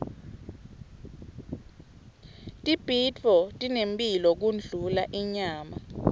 tibhidvo tinemphilo kundlula inyama